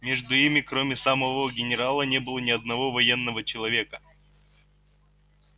между ими кроме самого генерала не было ни одного военного человека